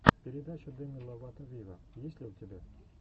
передача деми ловато виво есть ли у тебя